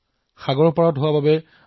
কেন্দ্ৰপাৰা সাগৰৰ পাৰত অৱস্থিত